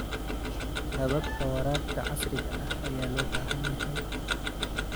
Hababka waraabka casriga ah ayaa loo baahan yahay.